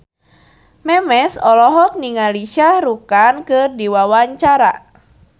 Memes olohok ningali Shah Rukh Khan keur diwawancara